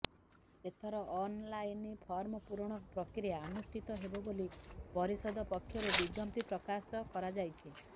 ଏଥର online form ପୂରଣ ପ୍ରକ୍ରିୟା ଆନୁଷ୍ଠିତ ହେବ ବୋଲି ପରିଷଦ ପକ୍ଷରୁ ବିଜ୍ଞପ୍ତି ପ୍ରକାଶ କରାଯାଇଛି